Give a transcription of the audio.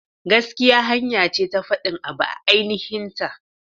Gaskiya hanya ce ta fadin abu a aininhin ta.